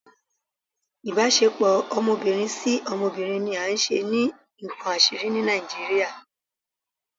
Ibasepo ọmọbirin si ọmọbirin ni a ṣe ni nkán asiri ni Nijiriria